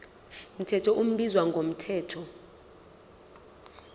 mthetho ubizwa ngomthetho